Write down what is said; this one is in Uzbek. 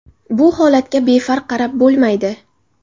Bu holatga befarq qarab bo‘lmaydi.